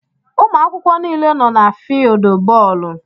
Umuakwukwo niile nọ na fieeldú bóólú.